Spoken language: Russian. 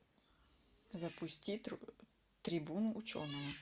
запусти трибуну ученого